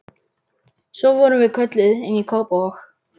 Svo vorum við kölluð inn í Kópavog.